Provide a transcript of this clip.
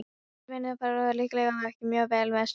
Þessar vinnutarnir fóru líklega ekki mjög vel með skrokkinn.